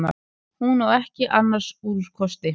Hún á ekki annars úrkosti.